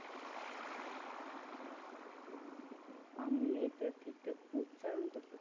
আমি এটার ঠিকঠাক উচ্চারণ করতে